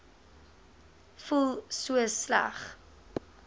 voel so sleg